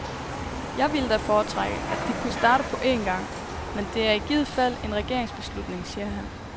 Jeg ville da foretrække, at de kunne starte på en gang, men det er i givet fald en regeringsbeslutning, siger han.